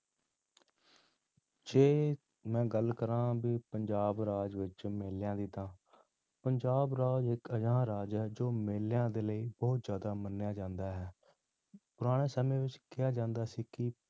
ਜੇ ਮੈਂ ਗੱਲ ਕਰਾਂ ਵੀ ਪੰਜਾਬ ਰਾਜ ਵਿੱਚ ਮੇਲਿਆਂ ਦੀ ਤਾਂ ਪੰਜਾਬ ਰਾਜ ਇੱਕ ਅਜਿਹਾ ਰਾਜ ਹੈ ਜੋ ਮੇਲਿਆਂ ਦੇ ਲਈ ਬਹੁਤ ਜ਼ਿਆਦਾ ਮੰਨਿਆ ਜਾਂਦਾ ਹੈ, ਪੁਰਾਣੇ ਸਮੇਂ ਵਿੱਚ ਕਿਹਾ ਜਾਂਦਾ ਸੀ ਕਿ